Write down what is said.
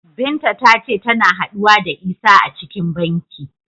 Binta ta ce tana haɗuwa da Isah a cikin banki.